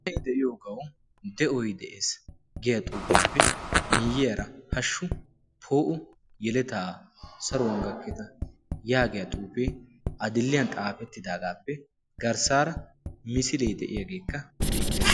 ani de'iyoogau de'oy de'ees. giya xuufiyaappe miiyiyaara hashshu poo''o yeletaa saruwan gakketa' yaagiya xuufee adilliyan xaafettidaagaappe garssaara misilee de7iyaageekka beettees.